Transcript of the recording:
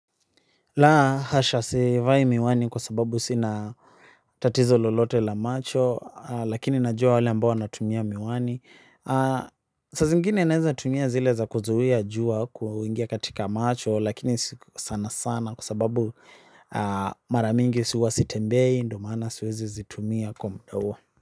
Laa hasha sivai miwani kwa sababu sinatatizo lolote la macho lakini najua wale ambao wanatumia miwani saa zingine naeza tumia zile za kuzuia jua kuingia katika macho lakini si sana sana kwa sababu maramingi huwa sitembei ndo maana siwezi zitumia kwa muda huo.